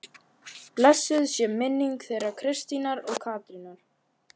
Blessuð sé minning þeirra Kristínar og Katrínar.